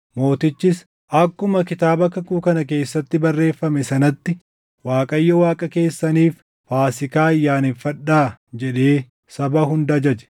Mootichis, “Akkuma Kitaaba Kakuu kana keessatti barreeffame sanatti Waaqayyo Waaqa keessaniif Faasiikaa ayyaaneffadhaa” jedhee saba hunda ajaje.